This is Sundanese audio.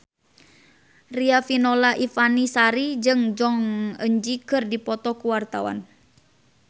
Riafinola Ifani Sari jeung Jong Eun Ji keur dipoto ku wartawan